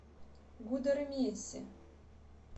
гудермесе